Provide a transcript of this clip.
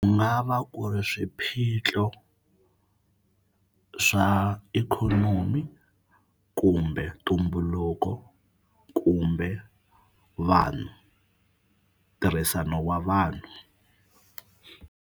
va ku ri swiphiqo swa ikhonomi kumbe ntumbuluko kumbe vanhu ntirhisano wa vanhu.